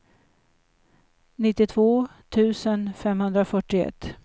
nittiotvå tusen femhundrafyrtioett